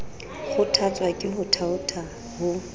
kgothatswa ke ho thaotha ho